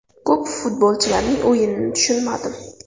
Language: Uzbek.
Ko‘p futbolchilarning o‘yinini tushunmadim.